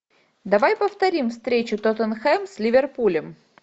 давай повторим встречу тоттенхэм с ливерпулем